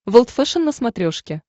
волд фэшен на смотрешке